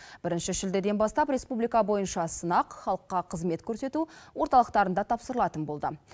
бірінші шілдеден бастап республика бойынша сынақ халыққа қызмет көрсету орталықтарында тапсырылатын болды